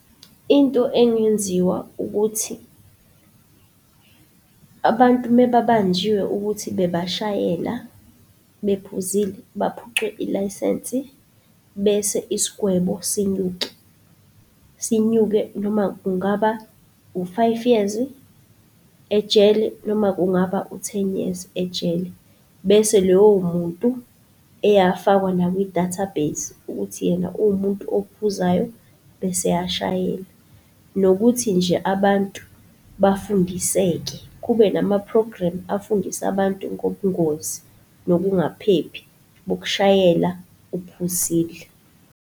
Into engenziwa ukuthi abantu mebabanjiwe ukuthi bebashayela bephuzile, baphucwe ilayisensi bese isigwebo sinyuke. Sinyuke noma kungaba u-five years ejele, noma kungaba u ten-years ejele. Bese lowo muntu eyafakwa nakwi-database ukuthi yena uwumuntu ophuzayo bese eyashayela. Nokuthi nje abantu bafundiseke kube nama-program afundisa abantu ngobungozi, nokungaphephi bokushayela uphuzile.